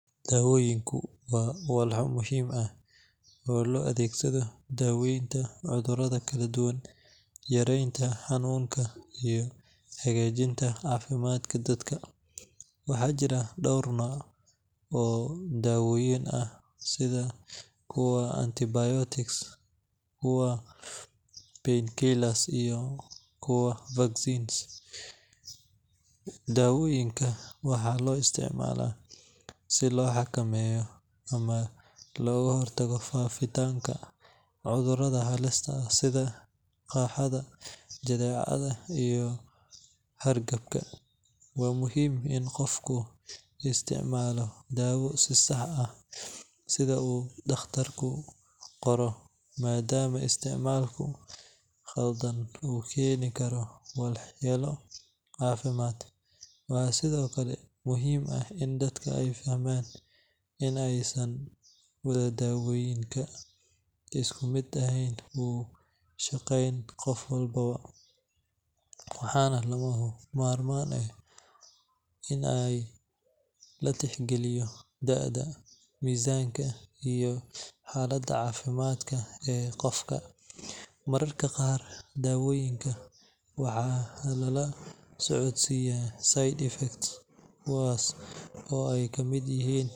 Dawooyinku waa walxo muhiim ah oo loo adeegsado daaweynta cudurrada kala duwan, yareynta xanuunka, iyo hagaajinta caafimaadka dadka. Waxaa jira dhowr nooc oo dawooyin ah sida kuwa antibiotics, kuwa painkillers, iyo kuwa vaccines. Dawooyinka waxaa loo isticmaalaa si loo xakameeyo ama looga hortago faafitaanka cudurrada halista ah sida qaaxada, jadeecada, iyo hargabka. Waa muhiim in qofku isticmaalo daawo si sax ah sida uu dhakhtarku qoro, maadaama isticmaalka khaldan uu keeni karo waxyeelo caafimaad. Waxaa sidoo kale muhiim ah in dadka ay fahmaan in aysan wada dawooyinka isku mid ah u shaqeyn qof walba, waxaana lagama maarmaan ah in la tixgeliyo da'da, miisaanka, iyo xaaladda caafimaad ee qofka. Mararka qaar, dawooyinka waxaa lala socodsiiyaa side effects, kuwaas oo ay kamid yihiin,